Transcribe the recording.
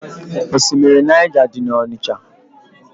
Osimiri Naịja dị n'Ọnịcha.